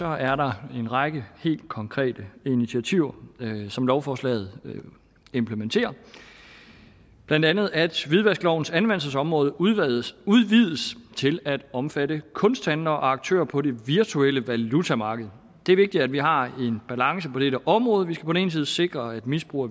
er der en række helt konkrete initiativer som lovforslaget implementerer blandt andet at hvidvasklovens anvendelsesområde udvides til at omfatte kunsthandlere og aktører på det virtuelle valutamarked det er vigtigt at vi har en balance på dette område vi skal på den ene side sikre at misbrug